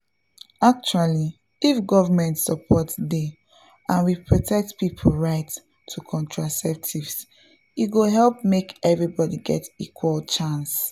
actually if government support dey and we protect people right to contraceptives e go help make everybody get equal chance.